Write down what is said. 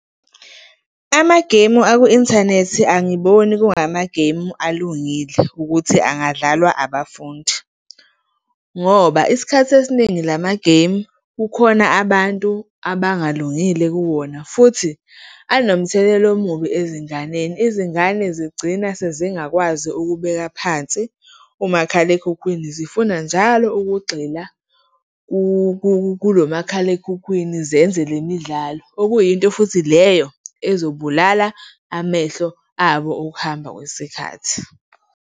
Amageyimu aku-inthanethi angiboni kungamageyimu alungile ukuthi angadlalwa abafundi ngoba isikhathi esiningi lamageyimu, kukhona abantu abalungile kuwona futhi anomthelela omubi ezinganeni. Izingane zigcina sezingakwazi ukubeka phansi umakhalekhukhwini, zifuna njalo ukugxila kulomakhalekhukhwini, zenze le midlalo. Okuyinto futhi leyo ezobulala amehlo abo, ukuhamba kwesikhathi.